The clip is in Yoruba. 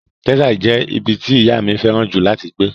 Texas jẹ́ ibi tí ìyá mi fẹ́ràn jù láti gbé.